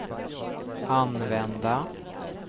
använda